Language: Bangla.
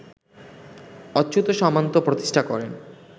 অচ্যুত সামন্ত প্রতিষ্ঠা করেন